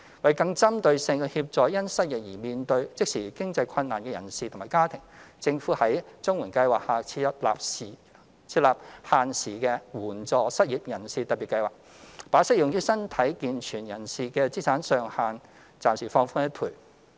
為更針對性地協助因失業而面對即時經濟困難的人士及其家庭，政府在綜援計劃下設立限時的援助失業人士特別計劃，把適用於身體健全人士的資產上限暫時放寬一倍。